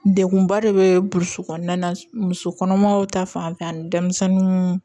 Degunba de bɛ burusi kɔnɔna na musokɔnɔmaw ta fanfɛla ni denmisɛnninw